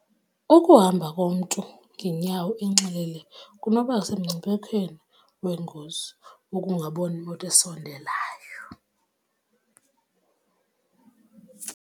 Ukuhamba komntu ngeenyawo enxilile kunoba semngciphekweni weengozi wokungaboni moto esondelayo.